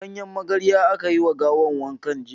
Da ganyen magarya aka yi ma gawan wanka jiya.